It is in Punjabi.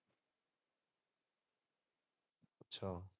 ਅੱਛਾ।